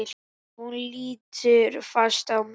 Hún lítur fast á mig.